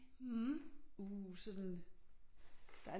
Uh sådan